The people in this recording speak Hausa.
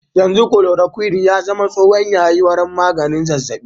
Yanzu chloroquine ya zama tsohon yayi wurin maganin zazzabi.